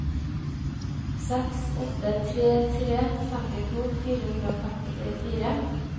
seks åtte tre tre femtito fire hundre og femtifire